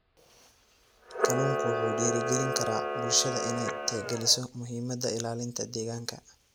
Kalluunku wuxuu dhiirigelin karaa bulshada inay tixgeliso muhiimadda ilaalinta deegaanka.